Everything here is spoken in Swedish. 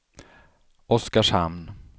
Oskarshamn